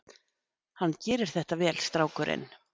Hann gerir þetta vel, strákurinn.